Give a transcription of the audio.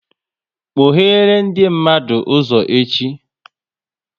Kpoghere ndị mmadụ ụzọ echi!